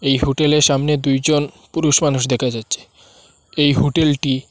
এই হোটেল -এর সামনে দুইজন পুরুষ মানুষ দেখা যাচ্ছে এই হোটেল -টি--